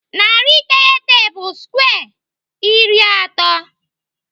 Narị iteghete bụ skwe iri atọ.